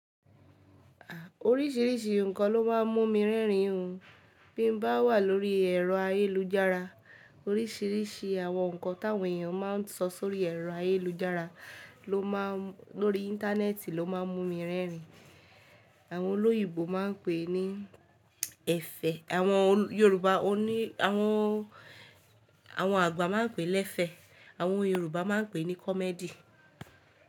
Oríṣìíríṣìí nǹkan ló máa ń mú mi rẹ́rìn-ín, bí mo bá wà lórí ẹ̀rọ ayélujára. Oríṣìíríṣìí àwọn nǹkan táwọn èèyàn máa ń sọ sórí ẹ̀rọ ayélujára ló máa ń lórí Interneti ló máa ń mú mi rẹ́rìn-ín. Àwọn olóyìibo máa ń pè é ní ẹ̀fẹ̀, àwọn Yorùbá ó ní àwọn, àwọn àgbà máa ń pè é lẹ́fẹ̀, àwọn Yorùbá máa ń pè é ní comedy.